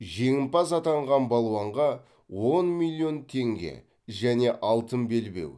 жеңімпаз атанған балуанға он миллион теңге және алтын белбеу